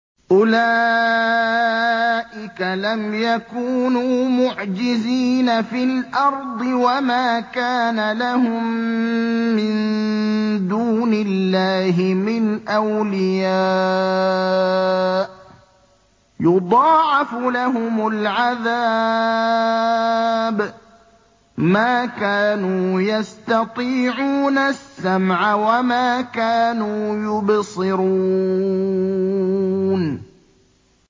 أُولَٰئِكَ لَمْ يَكُونُوا مُعْجِزِينَ فِي الْأَرْضِ وَمَا كَانَ لَهُم مِّن دُونِ اللَّهِ مِنْ أَوْلِيَاءَ ۘ يُضَاعَفُ لَهُمُ الْعَذَابُ ۚ مَا كَانُوا يَسْتَطِيعُونَ السَّمْعَ وَمَا كَانُوا يُبْصِرُونَ